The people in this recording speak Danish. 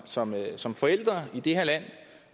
som som forældre i det her land